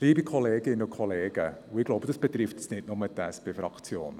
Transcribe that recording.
Liebe Kolleginnen und Kollegen, und ich glaube, das betrifft nicht nur die SP-Fraktion: